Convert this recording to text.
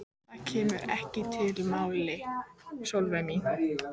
Það kemur ekki til mála, Lilla mín.